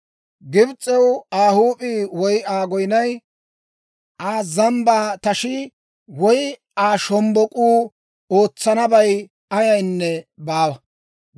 Gibs'ew Aa huup'ii woy Aa goyinay, Aa zambbaa tashii, woy Aa shombbok'uu ootsanabay ayaynne baawa.